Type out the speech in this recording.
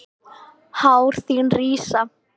Hár þín rísa.